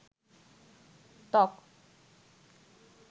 ত্বক